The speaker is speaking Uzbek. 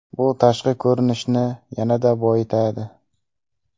Bu tashqi ko‘rinishni yanada boyitadi.